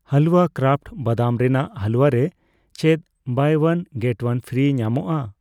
ᱦᱟᱞᱣᱟ ᱠᱨᱟᱯᱷᱴ ᱵᱟᱫᱟᱢ ᱨᱮᱱᱟᱜ ᱦᱟᱞᱩᱣᱟ ᱨᱮ ᱪᱮᱫ 'buy one get one free' ᱧᱟᱢᱚᱜᱚᱠᱼᱟ ?